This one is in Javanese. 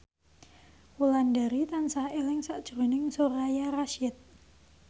Wulandari tansah eling sakjroning Soraya Rasyid